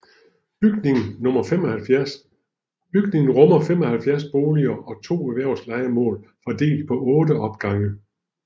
Bygningen rummer 75 boliger og to erhvervslejemål fordelt på otte opgange